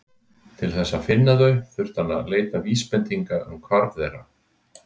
Til þess að finna þau þurfti hann að leita vísbendinga um hvarf þeirra.